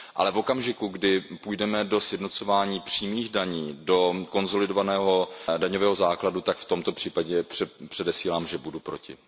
Ale v okamžiku, kdy půjdeme do sjednocování přímých daní, do konsolidovaného daňového základu, tak v tomto případě předesílám, že budu proti.